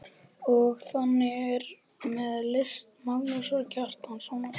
Og þannig er með list Magnúsar Kjartanssonar.